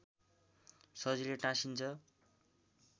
सजिलै टाँसिन्छ